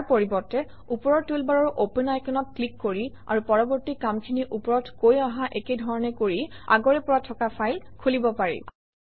ইয়াৰ পৰিৱৰ্তে ওপৰৰ টুলবাৰৰ অপেন আইকনত ক্লিক কৰি আৰু পৰৱৰ্তী কামখিনি ওপৰত কৈ অহা একে ধৰণে কৰি আগৰে পৰা থকা ফাইল খুলিব পাৰি